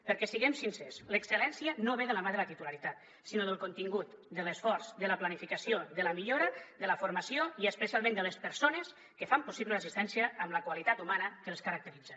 perquè siguem sincers l’excel·lència no ve de la mà de la titularitat sinó del contingut de l’esforç de la planificació de la millora de la formació i especialment de les persones que fan possible l’assistència amb la qualitat humana que els caracteritza